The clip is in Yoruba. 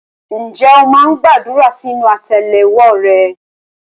Ǹjẹ́ o máa ń gbàdúrà sínú àtẹ́lẹwọ́ rẹ?